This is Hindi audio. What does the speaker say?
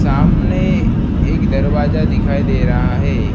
सामने एक दरवाजा दिखाई दे रहा है।